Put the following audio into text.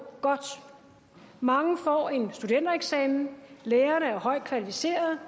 godt mange får en studentereksamen lærerne er højt kvalificerede